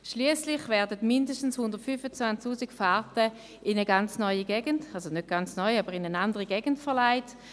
Schliesslich werden mindestens 125 000 Fahrten in eine andere Gegend verlegt.